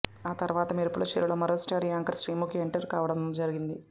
ఆ తరువాత మెరుపుల చీరలో మరో స్టార్ యాంకర్ శ్రీముఖి ఎంటర్ కావడం జరిగింది